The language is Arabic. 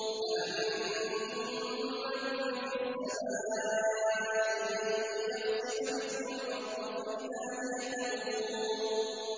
أَأَمِنتُم مَّن فِي السَّمَاءِ أَن يَخْسِفَ بِكُمُ الْأَرْضَ فَإِذَا هِيَ تَمُورُ